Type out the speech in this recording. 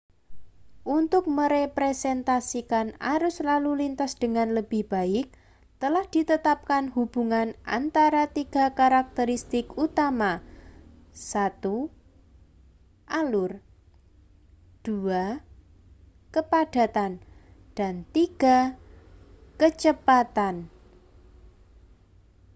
untuk merepresentasikan arus lalu lintas dengan lebih baik telah ditetapkan hubungan antara tiga karakteristik utama: 1 alur 2 kepadatan dan 3 kecepatan